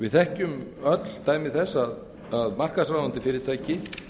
við þekkjum öll dæmi þess að markaðsráðandi fyrirtæki